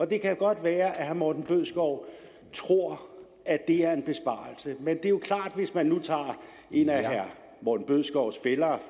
det kan godt være at herre morten bødskov tror at det er en besparelse men hvis man nu tager en af herre morten bødskovs fæller